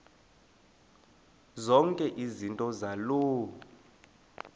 zonke izinto zaloo